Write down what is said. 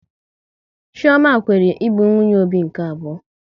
Chioma kweere ịbụ nwunye Obi nke abụọ